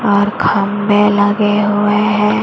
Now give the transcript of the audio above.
और खंभे लगे हुए हैं।